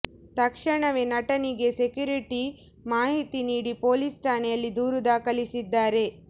ತಕ್ಷಣವೇ ನಟನಿಗೆ ಸೆಕ್ಯುರಿಟಿ ಮಾಹಿತಿ ನೀಡಿ ಪೊಲೀಸ್ ಠಾಣೆಯಲ್ಲಿ ದೂರು ದಾಖಲಿಸಿದ್ದಾರೆ